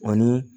Ani